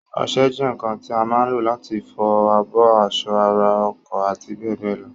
Ọsẹ jẹ́ ǹǹkan tí a má ǹ lò láti fi fọ abọ́, aṣọ, ara, ọkọ̀ àti bẹ́ẹ̀bẹ́ẹ̀ lọ